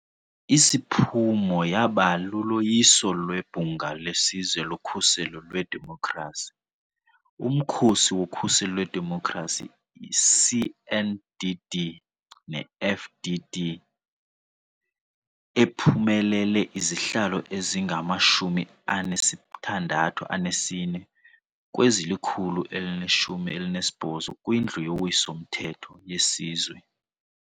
Isiphumo yaba luloyiso lweBhunga leSizwe loKhuselo lweDemokhrasi - uMkhosi woKhuselo lweDemokhrasi iCNDD-neFDD, ephumelele izihlalo ezingama-64 kwezili-118 kwiNdlu yoWiso-mthetho yeSizwe.